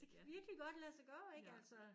Det kan virkelig godt lade sig gøre ikke altså